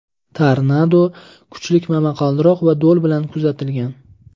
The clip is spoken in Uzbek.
Tornado kuchli momaqaldiroq va do‘l bilan kuzatilgan.